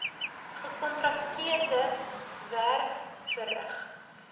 gekontrakteerde werk verrig